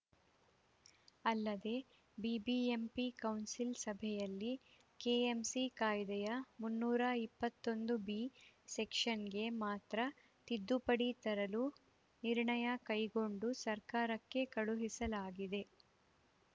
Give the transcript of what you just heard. ಅಲ್ಲದೆ ಬಿಬಿಎಂಪಿ ಕೌನ್ಸಿಲ್‌ ಸಭೆಯಲ್ಲಿ ಕೆಎಂಸಿ ಕಾಯ್ದೆಯ ಮುನ್ನೂರ ಇಪ್ಪತೊಂದು ಬಿ ಸೆಕ್ಷನ್‌ಗೆ ಮಾತ್ರ ತಿದ್ದುಪಡಿ ತರಲು ನಿರ್ಣಯ ಕೈಗೊಂಡು ಸರ್ಕಾರಕ್ಕೆ ಕಳುಹಿಸಲಾಗಿದೆ